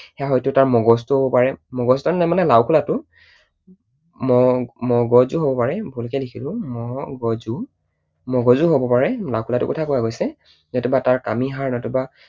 সেইয়া হয়তো তাৰ মগজুটোও হব পাৰে মগজু নহয় মানে লাওখোলাটো। ম মগজুও হব পাৰে, ভূলকৈ লিখিলো, ম গ জু, মগজুও হব পাৰে, লাওখোলাটোৰ কথা কোৱা গৈছে, নতুবা তাৰ কামিহাড় নতুবা